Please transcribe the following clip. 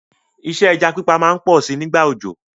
Isẹ́ ẹja pípa má n pọ si nígbà òjò